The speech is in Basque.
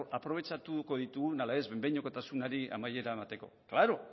aprobetxatuko ditugun edo ez behin behinekotasunari amaiera emateko klaro